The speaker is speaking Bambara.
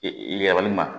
Yɛlɛli ma